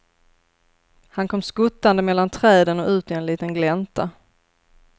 Han kom skuttande mellan träden och ut i en liten glänta.